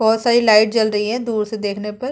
बहोत सारी लाइट जल रही है दूर से देखने पर।